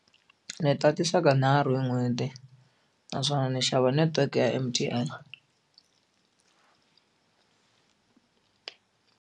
Ndzi tatisa ka nharhu hi n'hweti naswona ni xava netiweke ya M_T_N.